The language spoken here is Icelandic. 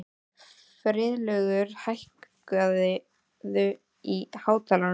Friðlaugur, hækkaðu í hátalaranum.